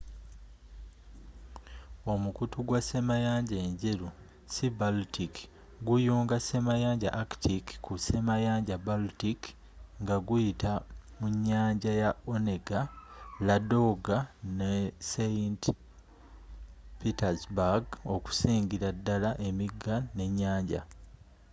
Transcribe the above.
omukutu gwa ssemayanja enjeru sea-baltic guyunga ssemayanja arctic ku ssemayanja baltic nga guyita munyanja ya onega ladoga ne saint petersburg okusingira dala emiiga n'enyanja